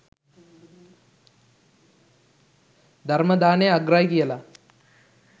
ධර්ම දානය අග්‍රයි කියලා